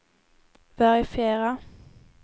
verifiera